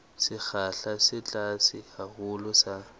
sekgahla se tlase haholo sa